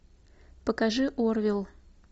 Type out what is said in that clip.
покажи орвилл